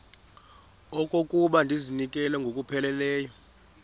okokuba ndizinikele ngokupheleleyo